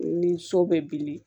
Ni so bɛ bilen